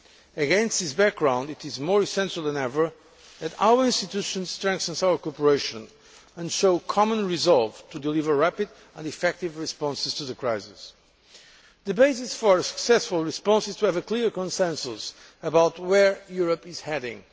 Against this background, it is more essential than ever that our institutions strengthen our cooperation and show common resolve to deliver rapid and effective responses to the crisis. The basis for a successful response is to have a clear consensus about where Europe is heading.